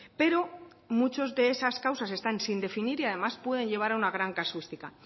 pero muchas de esas causas están sin definir y además pueden llevar a una gran casuística